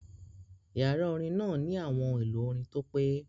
Yàrá orin náà ní àwọn ohun èlò orin tó pé